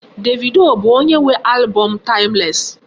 Davido bụ onye nwe album m Timeless.